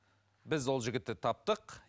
біз ол жігітті таптық